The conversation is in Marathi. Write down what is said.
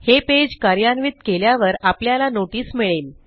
हे पेज कार्यान्वित केल्यावर आपल्याला नोटीस मिळेल